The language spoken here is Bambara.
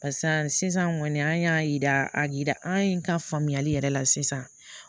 sisan kɔni an y'a yira a yira an ka faamuyali yɛrɛ la sisan